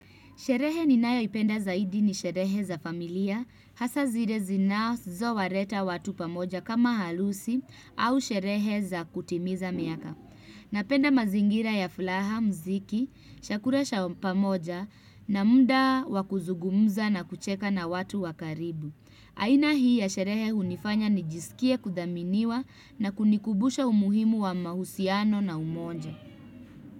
Sherehe ni nayoipenda zaidi ni sherehe za familia, hasa zire zinazo wareta watu pamoja kama halusi au sherehe za kutimiza miaka. Napenda mazingira ya flaha, mziki, shakura sha pamoja na muda wa kuzugumza na kucheka na watu wa karibu. Aina hii ya sherehe hunifanya nijisikie kudhaminiwa na kunikubusha umuhimu wa mahusiano na umonja.